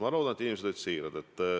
Ma loodan, et inimesed olid siirad.